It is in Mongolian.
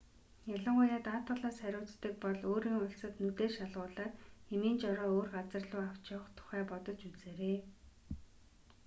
ялангуяа даатгалаас хариуцдаг бол өөрийн улсад нүдээ шалгуулаад эмийн жороо өөр газар луу авч явах тухай бодож үзээрэй